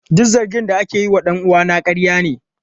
Duk zargin da ake yi wa dan uwana ƙarya ne.